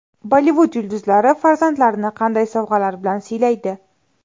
Bollivud yulduzlari farzandlarini qanday sovg‘alar bilan siylaydi?.